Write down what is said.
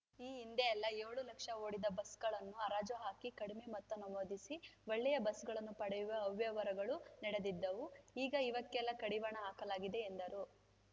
ಈ ಹಿಂದೆಯೆಲ್ಲಾ ಏಳು ಲಕ್ಷ ಓಡಿದ ಬಸ್‌ಗಳನ್ನು ಹರಾಜು ಹಾಕಿ ಕಡಿಮೆ ಮೊತ್ತ ನಮೂದಿಸಿ ಒಳ್ಳೆಯ ಬಸ್‌ಗಳನ್ನು ಪಡೆಯುವ ಅವ್ಯವಹಾರಗಳು ನಡೆದಿದ್ದವು ಈಗ ಇವೆಕ್ಕೆಲ್ಲಾ ಕಡಿವಾಣ ಹಾಕಲಾಗಿದೆ ಎಂದರು